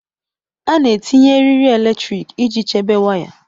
A na-etinye eriri eletrik iji chebe waya.